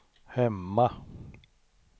hemma